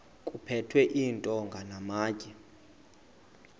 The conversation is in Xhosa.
kuphethwe iintonga namatye